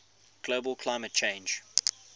global climate change